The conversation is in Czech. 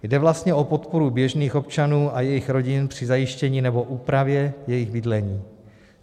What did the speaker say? Jde vlastně o podporu běžných občanů a jejich rodin při zajištění nebo úpravě jejich bydlení.